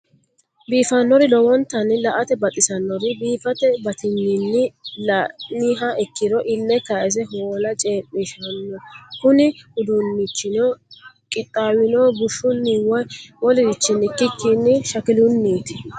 biifanori lowonnitanni la'ate baxisanori biifate batigninni la'niha ikiro ile kayisse hoola ceemishano kunni uduunnichino qixawinnohu bushshunni woyi wolerichinni ikikini shakiluniiti.